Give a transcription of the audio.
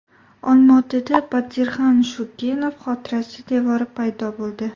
Olma-otada Batirxan Shukenov xotirasi devori paydo bo‘ldi.